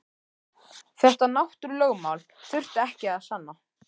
Þetta náttúrulögmál þurfti ekki að sanna.